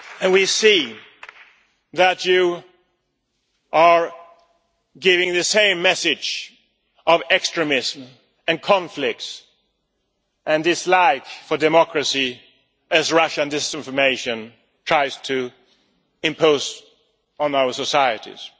We see that you are giving the same message of extremism, conflicts and dislike for democracy as Russian disinformation tries to impose on our societies.